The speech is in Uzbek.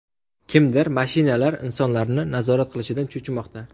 Kimdir mashinalar insonlarni nazorat qilishidan cho‘chimoqda.